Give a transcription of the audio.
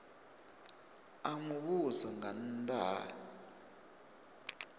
a muvhuso nga nnda ha